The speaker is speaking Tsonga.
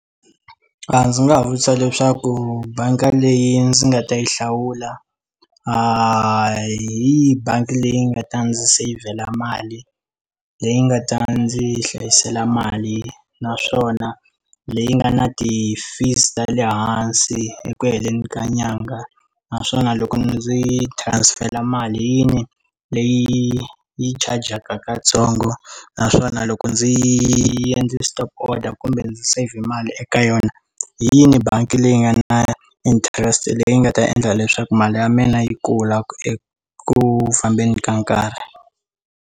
A ndzi nga vutisa leswaku bangi leyi ndzi nga ta yi hlawula a hi bangi leyi nga ta ndzi sayivela mali leyi nga ta ndzi hlayisela mali naswona leyi nga na ti fees ta le hansi hi ku heleni ka nyanga naswona loko ndzi transfer mali yihi leyi yi chajaka katsongo naswona loko ndzi yi endle stop order kumbe ndzi save mali eka yona hi yini bangi leyi nga na interest leyi nga ta endla leswaku mali ya mina yi kula eku fambeni ka nkarhi.